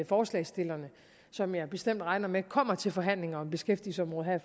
forslagsstillerne som jeg bestemt regner med kommer til forhandlinger om beskæftigelsesområdet her